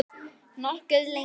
Nokkuð lengi.